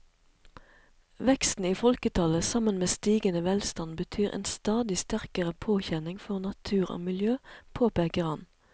Veksten i folketallet sammen med stigende velstand betyr en stadig sterkere påkjenning for natur og miljø, påpeker han.